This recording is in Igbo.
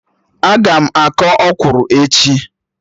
Aga m akọ ọkwụrụ echi